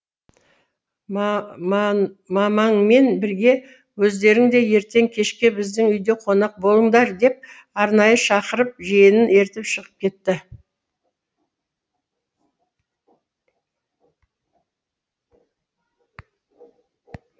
мамаңмен бірге өздерің де ертең кешке біздің үйде қонақ болыңдар деп арнайы шақырып жиенін ертіп шығып кетті